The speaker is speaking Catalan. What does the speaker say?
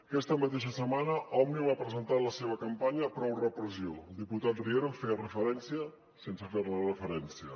aquesta mateixa setmana òmnium ha presentat la seva campanya prou repressió el diputat riera en referència sense fer ne referència